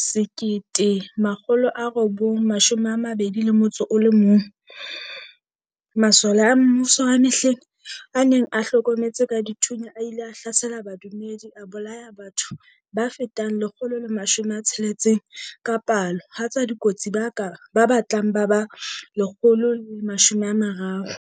1921, masole a mmuso wa mehleng a neng a hlometse ka dithunya a ile a hlasela badumedi a bolaya batho ba fetang 160 ka palo ha tswa dikotsi ba batlang ba ba 130.